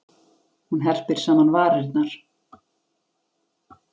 Hún herpir saman varirnar.